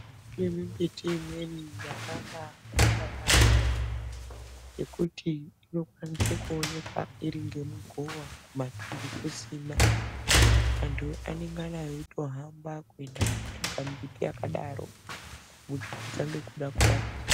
Kune mimbiti imweni yakabakosha yampho ngekuti inokwanisa kuoneka iri ngemugowa kumatuntu kusina antu anengana veitohamba kuenda kotsvaka mimbiti yakadaro kuti tange kuda kurapika.